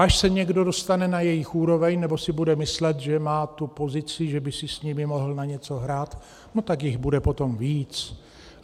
Až se někdo dostane na jejich úroveň, nebo si bude myslet, že má tu pozici, že by si s nimi mohl na něco hrát, no tak jich bude potom víc.